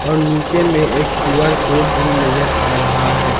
और नीचे में एक क्यू_आर कोड भी नजर आ रहा है।